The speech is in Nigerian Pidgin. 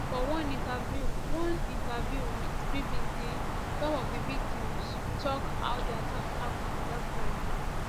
for one interview one interview wit bbc some of di victims tok how di attack happun for dat friday